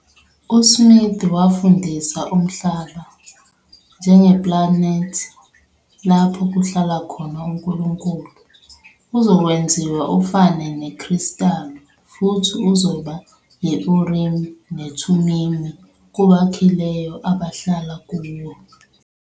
USmith wafundisa umhlaba, njengeplanethi lapho kuhlala khona uNkulunkulu, "uzokwenziwa ufane nekristalu futhi uzoba yi-Urimi neThumimi kubakhileyo abahlala kuwo".